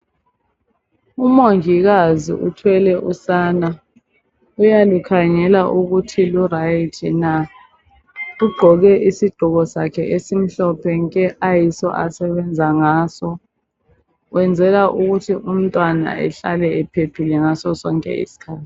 UMongikazi uthwele usana uyalukhangela ukuthi luright na?. Ugqoke isigqoko sakhe esimhlophe nke! asebenza ngaso. Wenzelavukuthi umntwana ahlale ephephile ngaso sonke isikhathi.